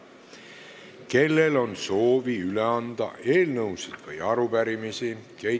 Kellel on soovi üle anda eelnõusid või arupärimisi?